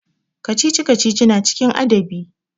Kacici-kacici na cikin adabi.